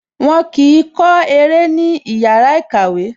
Wọn kì í kọ́ eré ní ìyára ìkàwẹ́